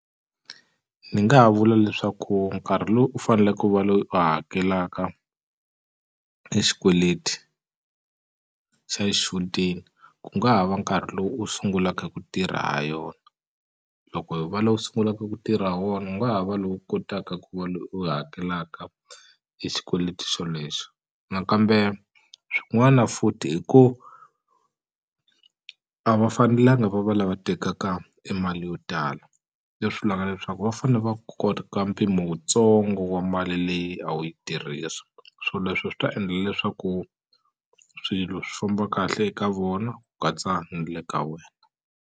Ni nga vula leswaku nkarhi lowu u faneleke u va loyi u hakelaka e xikweleti xa xichudeni ku nga ha va nkarhi lowu u sungulaka hi ku tirha ha yona loko hi va lowu sungulaka ku tirha ha wona u nga ha va lowu kotaka ku va loyi u hakelaka e xikweleti xolexo nakambe swin'wana futhi hi ku a va fanelanga va va lava tekaka i mali yo tala leswi vulaka leswaku va fane va mpimo wutsongo wa mali leyi a wu yi tirhisa swoleswo swi ta endla leswaku swilo swi famba kahle eka vona ku katsa ni le ka wena.